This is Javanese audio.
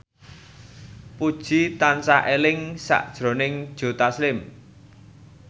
Puji tansah eling sakjroning Joe Taslim